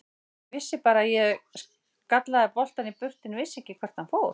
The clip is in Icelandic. Ég vissi bara að ég skallaði boltann í burtu en vissi ekki hvert hann fór.